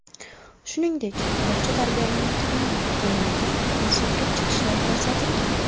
Shuningdek, bog‘cha tarbiyalanuvchilari tomonidan musiqiy chiqishlar ko‘rsatilgan.